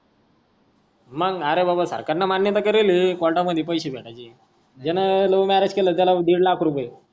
मग आरे बाबा सरकार नी मान्य केलेल कोर्टा मद्धी पैसे भेटायच. ज्या love marriage केल त्याला दीड लाख रुपय